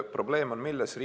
Probleem on milles?